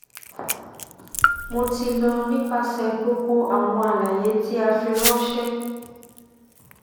mo ti lọ nipasẹ gbogbo awọn alaye ti a firanṣẹ